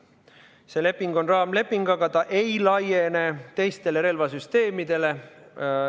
See leping on raamleping, aga see ei laiene teistele relvasüsteemidele.